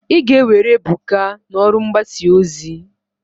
Ị ga-ewere Ebuka n'ọrụ mgbasa ozi!